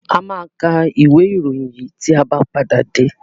A máa ka ìwé-ìròyìn yìí tí a bá padà dé.